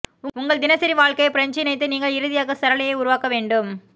உங்கள் தினசரி வாழ்க்கையில் பிரஞ்சு இணைத்து நீங்கள் இறுதியாக சரளையை உருவாக்க வேண்டும்